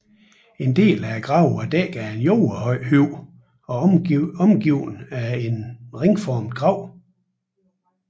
En del af gravene var dækket af en jordhøj og omgivet af en ringformet grav